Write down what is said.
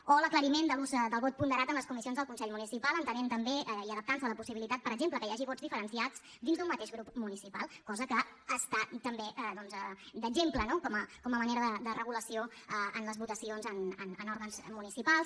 o l’aclariment de l’ús del vot ponderat en les comissions del consell municipal entenent també i adaptant se a la possibilitat per exemple que hi hagi vots diferenciats dins d’un mateix grup municipal cosa que està també d’exemple no com a manera de regulació en les votacions en òrgans municipals